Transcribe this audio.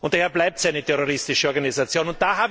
Daher bleibt es eine terroristische Organisation.